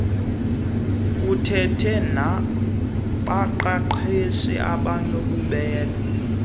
uthethe nabaqeqeshi abanobubele